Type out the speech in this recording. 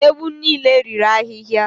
Ewu niile riri ahịhịa.